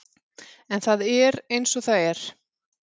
En það er eins og það er.